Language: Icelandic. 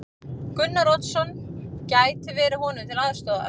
Gunnar Oddsson gæti verið honum til aðstoðar.